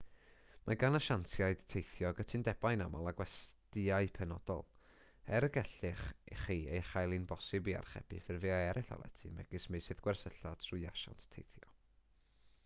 mae gan asiantiaid teithio gytundebau'n aml â gwestyau penodol er y gallech chi ei chael hi'n bosibl i archebu ffurfiau eraill o lety megis meysydd gwersylla trwy asiant teithio